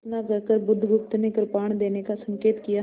इतना कहकर बुधगुप्त ने कृपाण देने का संकेत किया